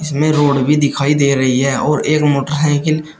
इसमें रोड भी दिखाई दे रही है और एक मोटर साइकिल --